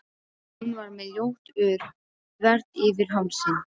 Hún var með ljótt ör þvert yfir hálsinn.